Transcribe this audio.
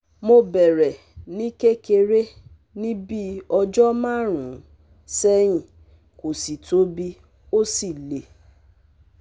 Mo bẹ̀rẹ̀ ní kékeré ní bíi ọjọ́ márùn-ún sẹ́yìn, kò sì tóbi ó sì le